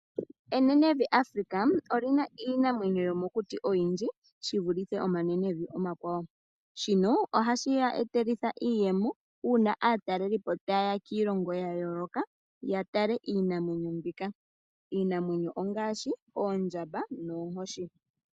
Enenevi Afrika olina iinamwenyo yomokuti oyindji shivulithe omanenevi omakwawo. Shino ohashi ya etele iiyemo sho aatalelipo tayeya kiilongo yayooloka yatale iinamwenyo ngaashi oondjamba noonkoshi.